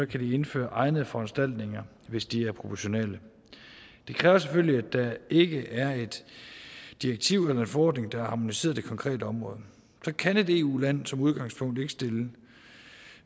kan de indføre egne foranstaltninger hvis de er proportionale det kræver selvfølgelig at der ikke er et direktiv eller en forordning der har harmoniseret det konkrete område så kan et eu land som udgangspunkt ikke stille